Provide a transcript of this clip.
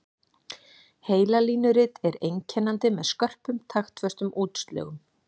Heilalínurit er einkennandi með skörpum taktföstum útslögum.